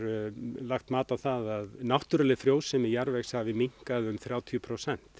lagt mat á það að náttúruleg frjósemi jarðvegs hafi minnkað um þrjátíu prósent